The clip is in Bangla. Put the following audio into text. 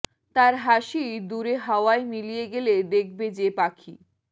তার হাসি দূরে হাওয়ায় মিলিয়ে গেলে দেখবে যে পাখি